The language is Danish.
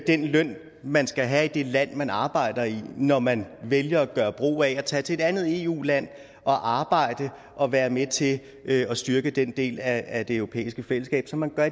den løn man skal have i det land man arbejder i når man vælger at tage til et andet eu land og arbejde og være med til at styrke den del af det europæiske fællesskab som man gør